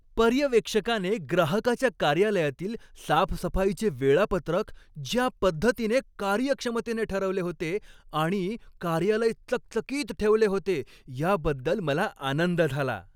पर्यवेक्षकाने ग्राहकाच्या कार्यालयातील साफसफाईचे वेळापत्रक ज्या पद्धतीने कार्यक्षमतेने ठरवले होते आणि कार्यालय चकचकीत ठेवले होते याबद्दल मला आनंद झाला.